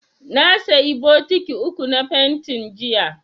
Na sayi bokiti uku na fentin, jiya.